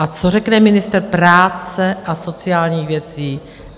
A co řekne ministr práce a sociálních věcí?